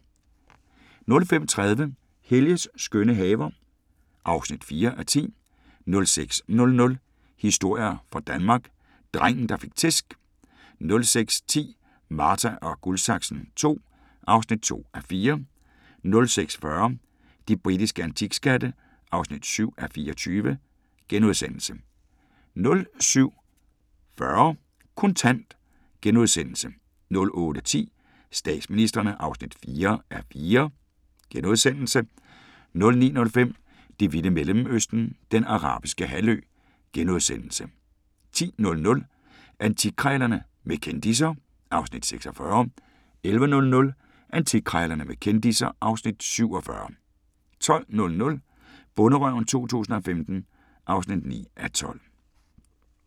05:30: Helges skønne haver (4:10) 06:00: Historier fra Danmark – drengen der fik tæsk 06:10: Marta & Guldsaksen II (2:4) 06:40: De britiske antikskatte (7:24)* 07:40: Kontant * 08:10: Statsministrene (4:4)* 09:05: Det vilde Mellemøsten – Den Arabiske Halvø * 10:00: Antikkrejlerne med kendisser (Afs. 46) 11:00: Antikkrejlerne med kendisser (Afs. 47) 12:00: Bonderøven 2015 (9:12)